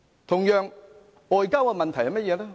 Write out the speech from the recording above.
同樣，外交問題是甚麼呢？